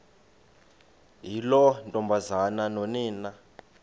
yiloo ntombazana nonina